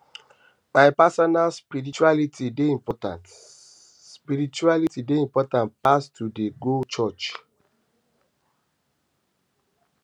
my personal spirituality dey important spirituality dey important pass to dey go church